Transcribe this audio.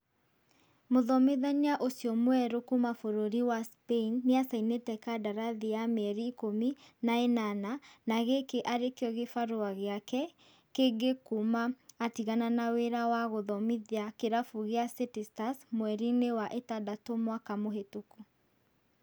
Mũthomithania ũcio mwerũ kuma bũrũri wa Spain nĩacainite kadarathi ya mĩeri ikũmi na ĩnana, na gĩkĩ arĩkio gĩbarua gĩake kĩngi kuma atigana na wĩra wa gũthomithia kĩrabu kĩa City Stars mweri-inĩ wa ĩtandatu mwaka mũhĩtũku